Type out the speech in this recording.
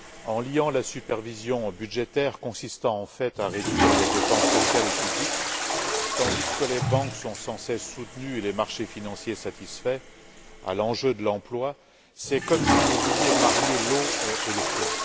En liant la supervision budgétaire consistant en fait à réduire les dépenses sociales et publiques tandis que les banques sont sans cesse soutenues et les marchés financiers satisfaits à l'enjeu de l'emploi, c'est comme si vous vouliez marier l'eau et le feu.